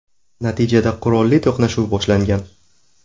Natijada qurolli to‘qnashuv boshlangan.